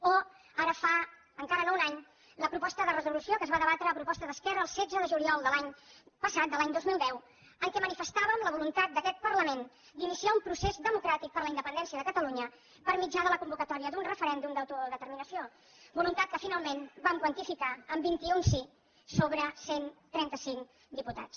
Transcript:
o ara fa encara no un any la proposta de resolució que es va debatre a proposta d’esquerra el setze de juliol de l’any passat de l’any dos mil deu en què manifestàvem la voluntat d’aquest parlament d’iniciar un procés democràtic per a la independència de catalunya per mitjà de la convocatòria d’un referèndum d’autodeterminació voluntat que finalment vam quantificar en vint i un sís sobre cent i trenta cinc diputats